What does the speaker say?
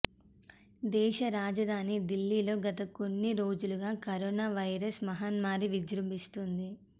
దేశ రాజధాని ఢిల్లీలో గత కొన్ని రోజులుగా కరోనా వైరస్ మహమ్మారి విజృంభిస్తోంది